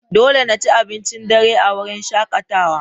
Dole na ci abincin dare a wurin shakatawa.